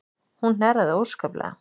Hún hnerraði óskaplega.